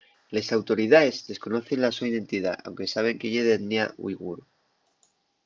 les autoridaes desconocen la so identidá anque saben que ye d'etnia uighur